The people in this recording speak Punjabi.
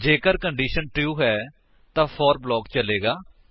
ਜੇਕਰ ਕੰਡੀਸ਼ਨ ਟਰੂ ਹੈ ਤਾਂ ਫੋਰ ਬਲਾਕ ਚਲੇਗਾ